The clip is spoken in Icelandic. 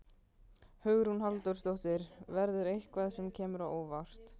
Hugrún Halldórsdóttir: Verður eitthvað sem kemur á óvart?